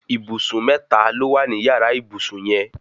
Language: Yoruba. Ìbùsùn mẹ́ta ló wà ní yàrá ìbùsùn yẹn